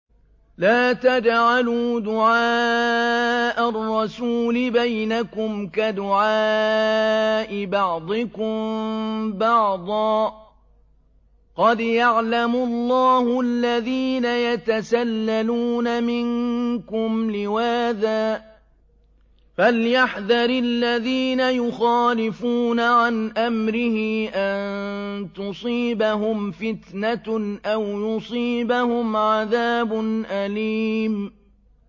لَّا تَجْعَلُوا دُعَاءَ الرَّسُولِ بَيْنَكُمْ كَدُعَاءِ بَعْضِكُم بَعْضًا ۚ قَدْ يَعْلَمُ اللَّهُ الَّذِينَ يَتَسَلَّلُونَ مِنكُمْ لِوَاذًا ۚ فَلْيَحْذَرِ الَّذِينَ يُخَالِفُونَ عَنْ أَمْرِهِ أَن تُصِيبَهُمْ فِتْنَةٌ أَوْ يُصِيبَهُمْ عَذَابٌ أَلِيمٌ